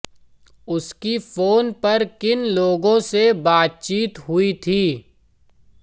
उसकी फोन पर किन लोगों से बातचीत हुई थी